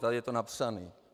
Tady je to napsané.